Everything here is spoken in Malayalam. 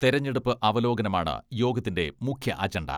തെരഞ്ഞെടുപ്പ് അവലോകനമാണ് യോഗത്തിന്റെ മുഖ്യ അജണ്ട.